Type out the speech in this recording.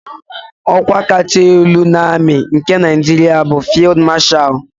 Ọ́kwá kacha elu na amị nke Naịjiria bụ Fịld Mashal.